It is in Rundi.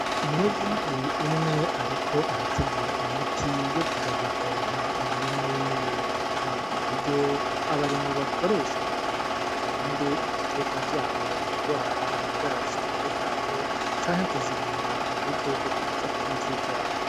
Umunyagihugu umwe ariko arategura imiti yo kuja gupompa umurima wiwe. Ni uburyo abarimyi bakoresha kugira ngo barinde ibiterwa vyabo kugwara ingwara zitandukanye canke kuzirinda udukoko twoza kuzirya.